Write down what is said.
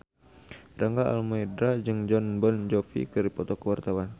Rangga Almahendra jeung Jon Bon Jovi keur dipoto ku wartawan